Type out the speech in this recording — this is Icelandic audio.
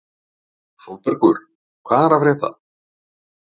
Sólbergur, hvað er að frétta?